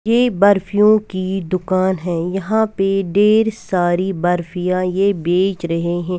यह बर्फ़ियों की दुकान है यहां पे ढ़ेर सारी बर्फियाँ ये बेच रहे है।